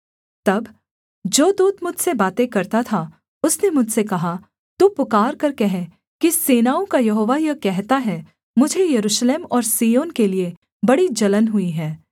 तब जो दूत मुझसे बातें करता था उसने मुझसे कहा तू पुकारकर कह कि सेनाओं का यहोवा यह कहता है मुझे यरूशलेम और सिय्योन के लिये बड़ी जलन हुई है